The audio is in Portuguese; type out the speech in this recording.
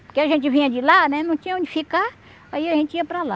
Porque a gente vinha de lá, né não tinha onde ficar, aí a gente ia para lá.